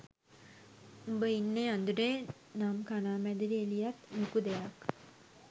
උඹ ඉන්නේ අඳුරේ නම්කණාමැදිරි එළියත් ලොකු දෙයක්.